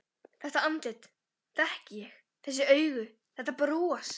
Þetta andlit þekki ég: Þessi augu, þetta bros.